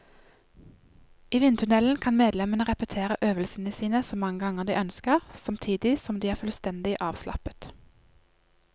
I vindtunnelen kan medlemmene repetere øvelsene sine så mange ganger de ønsker, samtidig som de er fullstendig avslappet.